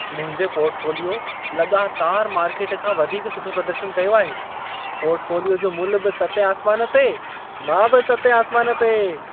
मुंहिंजे पॉर्टफोलियो लॻातार मार्केट खां वधीक सुठो प्रदर्शन कयो आहे। पॉर्टफोलियो जो मुल्ह बि सतें आसमान ते, मां बि सतें आसमान ते!